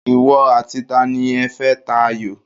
Ìwọ àti tani ẹ fẹ́ ta ayò?